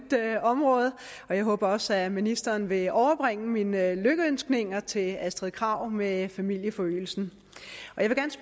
område og jeg håber også at ministeren vil overbringe mine lykønskninger til fru astrid krag med familieforøgelsen